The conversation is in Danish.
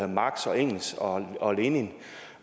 marx engels og og lenin